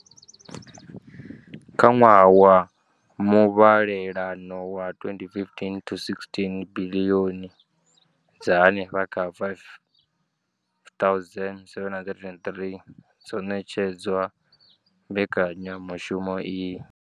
Kha ṅwaha wa muvhalelano wa 2015 to 16, biḽioni dza henefha kha R5 703 dzo ṋetshedzwa mbekanyamushumo iyi.